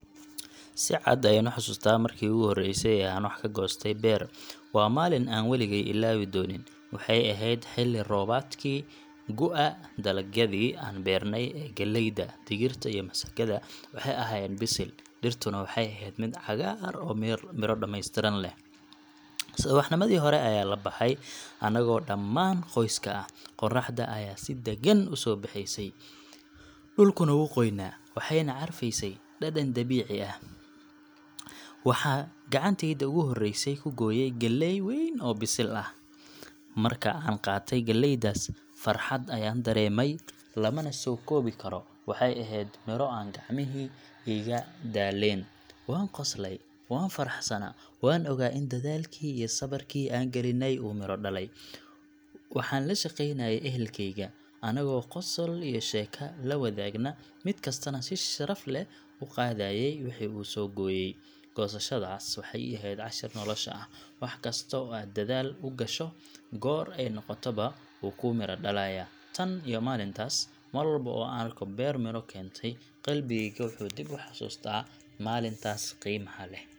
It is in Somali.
Si cad ayaan u xasuustaa markii ugu horreysay ee aan wax ka goostay beer. Waa maalin aan waligay ilaawi doonin. Waxay ahayd xilli roobaadkii gu’ga, dalagyadii aan beernay ee galleyda, digirta, iyo masagada waxay ahaayeen bisil, dhirtuna waxay ahayd mid cagaar iyo miro dhammaystiran leh. Subaxnimadii hore ayaa la baxay, annagoo dhammaan qoyska ah. Qorraxda ayaa si deggan u soo baxaysay, dhulkuna wuu qoyanaa, waxayna carfaynaysay dhadhan dabiici ah. Waxaan gacantayda ugu horreysay ku gooyay galley weyn oo bisil. Markii aan qaatay galleydaas, farxadda aan dareemay lama soo koobi karo waxay ahayd miro aan gacmihii iigu daaleen. Waan qoslayay, waan faraxsanaa, waana ogaa in dadaalkii iyo sabirkii aan galnay uu midho dhalay. Waxaan la shaqeynayay ehelkayga, annagoo qosol iyo sheeko la wadaagna, mid kastaana si sharaf leh u qaadayay wixii uu soo gooyay. Goosashadaas waxay ii ahayd cashar nolosha ah—wax kasta oo aad dadaal u gasho, goor ay noqotaba, wuu kuu miro dhalayaa. Tan iyo maalintaas, mar walba oo aan arko beer miro keentay, qalbigayga wuxuu dib u xasuustaa maalintaas qiimaha leh.